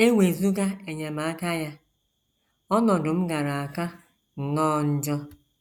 E wezụga enyemaka ya, ọnọdụ m gaara aka nnọọ njọ. ”